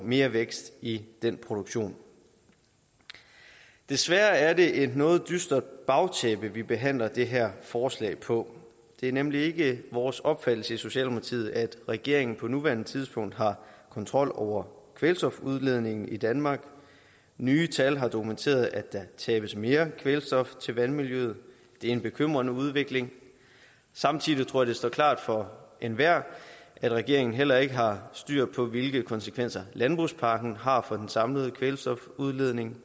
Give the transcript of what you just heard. mere vækst i den produktion desværre er det et noget dystert bagtæppe vi behandler det her forslag på det er nemlig ikke vores opfattelse i socialdemokratiet at regeringen på nuværende tidspunkt har kontrol over kvælstofudledningen i danmark nye tal har dokumenteret at der tabes mere kvælstof til vandmiljøet det er en bekymrende udvikling samtidig tror jeg det står klart for enhver at regeringen heller ikke har styr på hvilke konsekvenser landbrugspakken har for den samlede kvælstofudledning